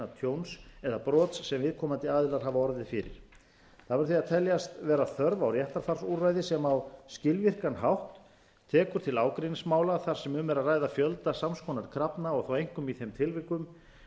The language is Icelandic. tjóns eða brots sem viðkomandi aðilar hafa orðið fyrir það verður því að teljast vera þörf á réttarfarsúrræði sem á skilvirkan hátt tekur til ágreiningsmála þar sem um er að ræða fjölda sams konar krafna og þá einkum í þeim tilfellum þar sem kröfurnar eru svo